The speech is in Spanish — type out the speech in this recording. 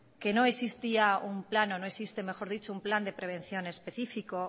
que no existía un plano no existe mejor dicho un plan de prevención específico